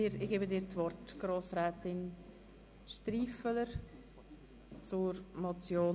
Ich gebe Grossrätin Striffeler das Wort.